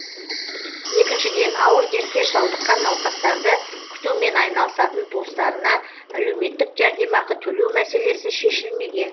екіншіден ауыр дертке шалдыққан науқастарды күтумен айналысатын туыстарына әлеуметтік жәрдемақы төлеу мәселесі шешілмеген